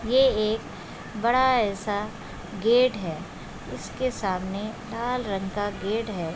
ये एक बड़ा ऐसा गेट है इसके सामने लाल रंग का गेट है।